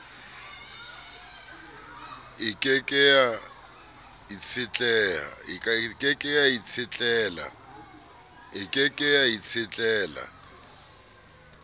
e ke ke ya itshetlela